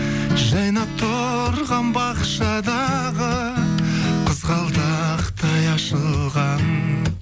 жайнап тұрған бақшадағы қызғалдақтай ашылған